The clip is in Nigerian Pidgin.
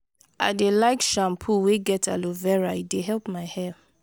i dey like shampoo wey get aloe vera e dey help my hair.